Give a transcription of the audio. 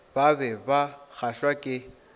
ba be ba kgahlwa ke